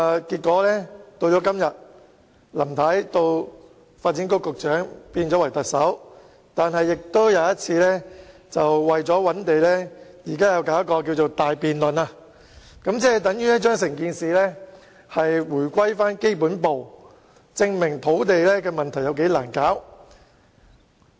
現在林太已由發展局局長變為特首，但仍要為了尋找土地而展開一項大辯論，這就等於把整件事回歸基本步，說明土地供應問題是多難處理。